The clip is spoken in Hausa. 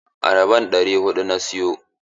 Ayaban ɗari huɗu na siyo.